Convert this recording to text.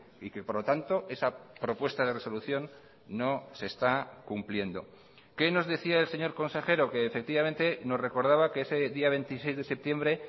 y que por lo tanto esa propuesta de resolución no se está cumpliendo qué nos decía el señor consejero que efectivamente nos recordaba que ese día veintiséis de septiembre